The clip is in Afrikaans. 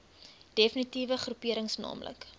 defnitiewe groeperings naamlik